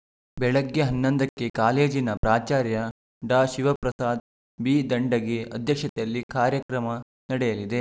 ಬೆಳಗ್ಗೆ ಹನ್ನೊಂದಕ್ಕೆ ಕಾಲೇಜಿನ ಪ್ರಾಚಾರ್ಯ ಡಾಶಿವಪ್ರಸಾದ ಬಿದಂಡಗಿ ಅಧ್ಯಕ್ಷತೆಯಲ್ಲಿ ಕಾರ್ಯಕ್ರಮ ನಡೆಯಲಿದೆ